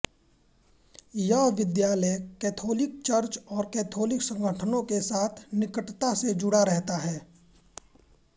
यह विद्यालय Catholic church और कैथोलिक संगठनों के साथ निकटता से जुड़ा रहता है